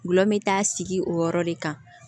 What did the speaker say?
Gulɔ bɛ taa sigi o yɔrɔ de kan